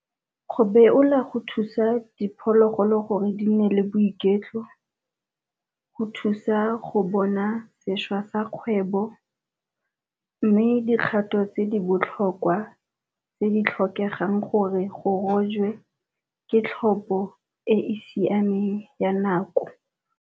Go beola go thusa diphologolo gore di nne le boiketlo go thusa go bona sešwa sa kgwebo, mme dikgato tse di botlhokwa tse di tlhokegang gore go rojwe ke tlhopo e e siameng ya nako.